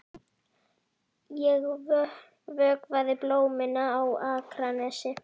Ég vökvaði blómin á Akranesi.